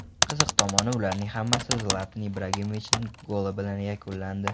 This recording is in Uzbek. Qiziq tomoni, ularning hammasi Zlatan Ibrahimovichning goli bilan yakunlandi .